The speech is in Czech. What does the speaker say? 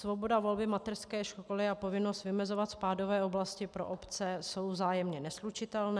Svoboda volby mateřské školy a povinnost vymezovat spádové oblasti pro obce jsou vzájemně neslučitelné.